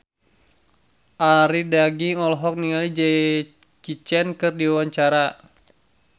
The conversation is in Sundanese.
Arie Daginks olohok ningali Jackie Chan keur diwawancara